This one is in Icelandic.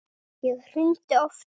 Ég hringdi oftar.